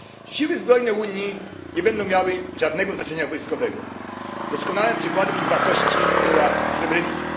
Siły zbrojne Unii nie będą miały żadnego znaczenia wojskowego. Doskonałym przykładem ich wartości była Srebrenica.